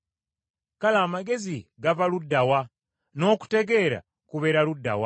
“Kale amagezi gava ludda wa? N’okutegeera kubeera ludda wa?